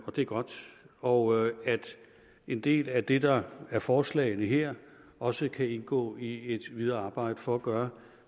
og det er godt og at en del af det der er i forslagene her også kan indgå i videre arbejde for at gøre